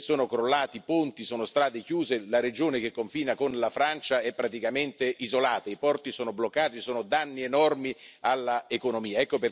Sono crollati ponti, ci sono strade chiuse, la regione che confina con la Francia è praticamente isolata, i porti sono bloccati e ci sono danni enormi all'economia.